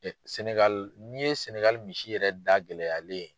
Sɛnɛgali n'i ye sɛnɛgali misi yɛrɛ da gɛlɛyalen ye